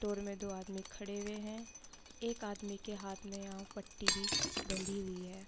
में दो आदमी खड़े हुए हैं | एक आदमी के हाथ में यहाँ पट्टी भी बंधी हुई है |